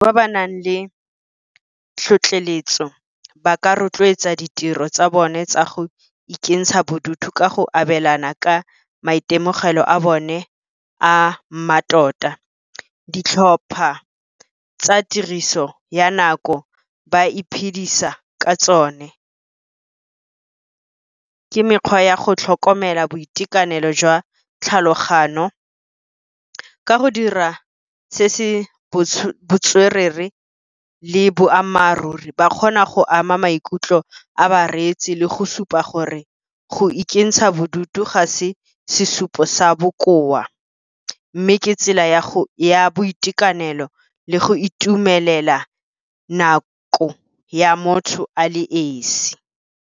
Ba ba nang le tlhotlheletso ba ka rotloetsa ditiro tsa bone tsa go ikentsha bodutu ka go abelana ka maitemogelo a bone a mmatota. Ditlhopha tsa tiriso ya nako ba iphedisa ka tsone, ke mekgwa ya go tlhokomela boitekanelo jwa tlhalogano. Ka go dira se se botswerere le boammaaruri, ba kgona go ama maikutlo a ba reetsi le go supa gore go ikentsha bodutu, ga se sesupo sa bokoa mme ke tsela ya boitekanelo le go itumelela nako ya motho a le esi.